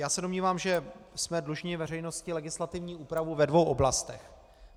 Já se domnívám, že jsme dlužni veřejnosti legislativní úpravu ve dvou oblastech.